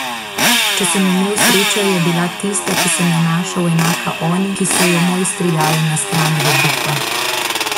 Če sem imel srečo, je bila tista, ki sem jo našel, enaka oni, ki so jo mojstri dali na stran v Bukvah.